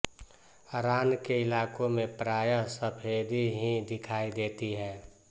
रान के इलाके में प्रायः सफ़ेदी ही दिखाई देती है